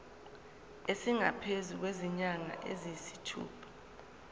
esingaphezu kwezinyanga eziyisithupha